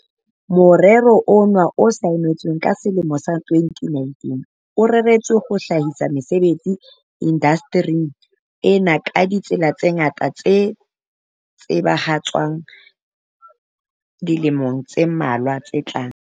"Morero noa o saennweng ka selemo sa 2019, o reretswe ho hlahisa mesebetsi indaste ring ena ka ditsela tse ngata tse tla tsebahatswa dilemong tse mmalwa tse tlang."